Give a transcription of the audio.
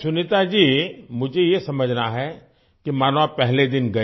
सुनीता जी मुझे ये समझना है कि मानो आप पहले दिन गए